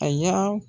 A y'a